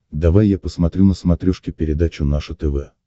давай я посмотрю на смотрешке передачу наше тв